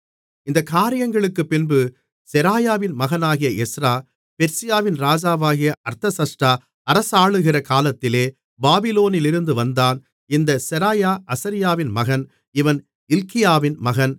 இந்தக் காரியங்களுக்குப்பின்பு செராயாவின் மகனாகிய எஸ்றா பெர்சியாவின் ராஜாவாகிய அர்தசஷ்டா அரசாளுகிற காலத்திலே பாபிலோனிலிருந்து வந்தான் இந்தச் செராயா அசரியாவின் மகன் இவன் இல்க்கியாவின் மகன்